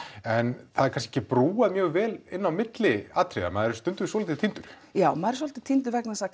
en það er kannski ekki brúað mjög vel inn á milli atriði maður er stundum svolítið týndur já maður er svolítið týndur vegna þess að